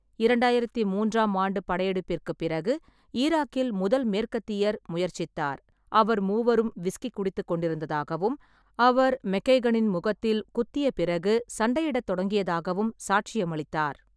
இரண்டாயிரத்தி மூன்றாம் ஆண்டு படையெடுப்பிற்குப் பிறகு ஈராக்கில் முதல் மேற்கத்தியர் முயற்சித்தார், அவர் மூவரும் விஸ்கி குடித்துக்கொண்டிருந்ததாகவும் அவர் மெக்கைகனின் முகத்தில் குத்திய பிறகு சண்டையிடத் தொடங்கியதாகவும் சாட்சியமளித்தார்.